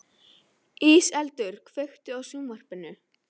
Íseldur, kveiktu á sjónvarpinu.